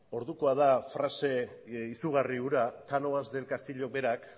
ordukoa da frase izugarri hura cánovas del castillo berak